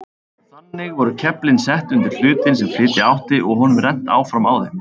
Þannig voru keflin sett undir hlutinn sem flytja átti og honum rennt áfram á þeim.